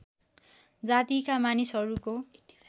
जातिका मनिसहरूको